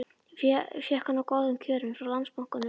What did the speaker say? Ég fékk hann á góðum kjörum frá Landsbankanum.